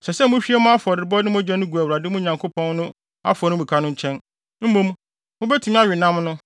Ɛsɛ sɛ muhwie mo afɔrebɔde no mogya no gu Awurade, mo Nyankopɔn no, afɔremuka no nkyɛn. Mmom, mubetumi awe nam no.